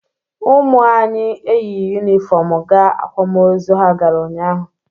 Ụmụ anyị eyighi yunifọmụ gaa akwamozu ha gara ụnyaahụ.